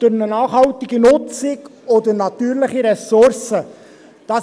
] durch eine nachhaltige Nutzung der natürlichen Ressourcen […]».